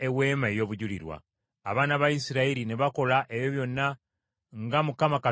Abaana ba Isirayiri ne bakola ebyo byonna nga Mukama Katonda bwe yalagira Musa.